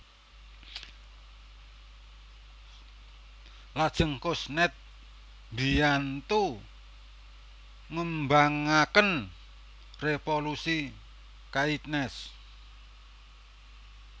Lajeng Kuznets mbiyantu ngembangaken revolusi Keynes